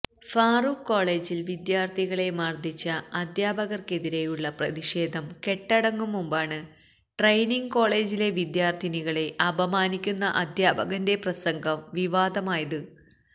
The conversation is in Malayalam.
ഫാറൂഖ് കോളജില് വിദ്യാര്ഥികളെ മര്ദ്ദിച്ച അധ്യാപകര്ക്കെതിരെയുള്ള പ്രതിഷേധം കെട്ടടങ്ങും മുമ്പാണ് ട്രെയിനിംഗ് കോളേജിലെ വിദ്യാര്ഥിനികളെ അപമാനിക്കുന്ന അധ്യാപകന്റെ പ്രസംഗം വിവാദമായത്